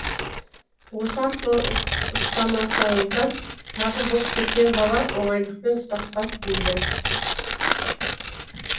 осы арқылы ұстамасаңыздар тағы боп кеткен бала оңайлықпен ұстатпас дейді